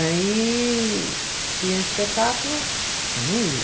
Aí tinha espetáculo, eu não ia.